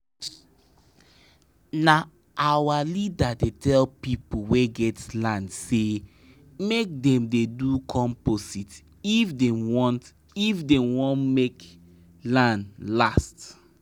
na our leader dey tell people wey get land say make dem dey do compost if dem want if dem want make land last.